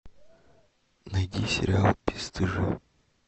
найди сериал бесстыжие